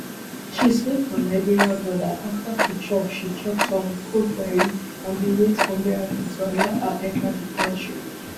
she sleep for liberia border afta she chop she chop some cold garri and dey wait for miracle to allow her enta di kontri